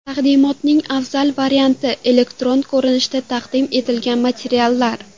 Taqdimotning afzal varianti – elektron ko‘rinishda taqdim etilgan materiallar.